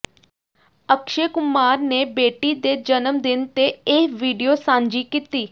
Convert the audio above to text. ਅਕਸ਼ੇ ਕੁਮਾਰ ਨੇ ਬੇਟੀ ਦੇ ਜਨਮਦਿਨ ਤੇ ਇਹ ਵੀਡੀਓ ਸਾਂਝੀ ਕੀਤੀ